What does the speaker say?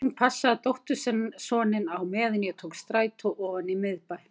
Hún passaði dóttursoninn á meðan ég tók strætó ofan í miðbæ.